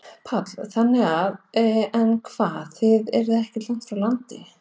Páll: Þannig að, en hvað, þið eruð ekkert langt frá landi?